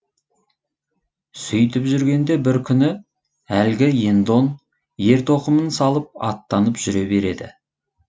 сөйтіп жүргенде бір күні әлгі ендон ер тоқымын салып аттанып жүре береді